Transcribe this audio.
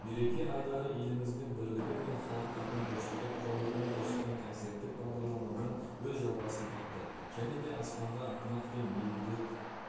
мереке айдары еліміздің бірлігі мен халықтардың достығы туралы үн қосқан концерттік бағдарламамен өз жалғасын тапты және де аспанға ынтымақ пен мейірімділік